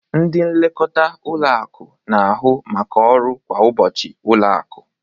Ndị nlekọta ụlọ akụ na-ahụ maka ọrụ kwa ụbọchị ụlọ akụ.